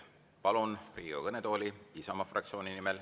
Palun Riigikogu kõnetooli Riina Solmani Isamaa fraktsiooni nimel.